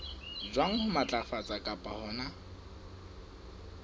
jwang ho matlafatsa kapa hona